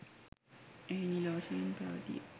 එහි නිල වශයෙන් පැවතිය